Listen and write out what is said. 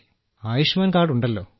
Ayushman card ഉണ്ടല്ലോ